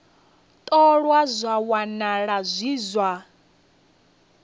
ṱolwa zwa wanala zwi zwa